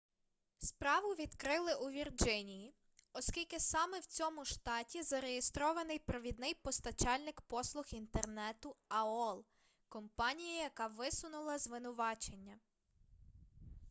справу відкрили у вірджинії оскільки саме в цьому штаті зареєстрований провідний постачальник послуг інтернету аол компанія яка висунула звинувачення